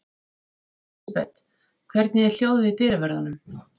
Elísabet, hvernig er hljóðið í dyravörðum?